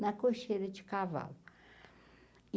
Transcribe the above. na cocheira de cavalo.